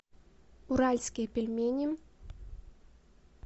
уральские пельмени